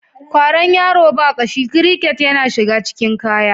Kwaron yaro ba ƙashi/ kiriket yana shiga cikin kaya.